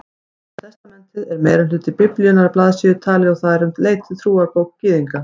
Gamla testamentið er meirihluti Biblíunnar að blaðsíðutali og það er um leið trúarbók Gyðinga.